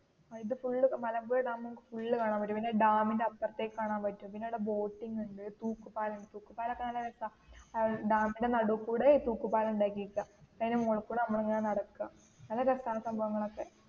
ഇത്‌ full Malampuzha dam full കാണാൻ പറ്റും പിന്നേ ഡാമിനു അപ്പറത്തു കാണാൻ പറ്റും പിന്നേ അവിടേ ബോട്ടിങ് ഉണ്ട് തൂക്കു പാലം ഉണ്ട് തൂക്കു പാലം ഒക്കേ നല്ല ഡാമിൻറെ നടുക്കൂടെ ഈ തൂക്കു പാലം ഉണ്ടാക്കിയേകുവാ അയിന്റെ മുകളിൽ കൂടെ നമ്മൾ ഇങ്ങനെ നടക്കാം നല്ല രസാ ആ സംഭവനങ്ങൾ ഒക്കേ